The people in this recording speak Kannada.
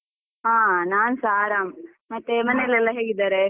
ಹಾ ನಾನ್ಸ ಆರಾಮ್, ಮತ್ತೆ ಮನೆಯಲ್ಲೆಲ್ಲ ಹೇಗಿದ್ದಾರೆ?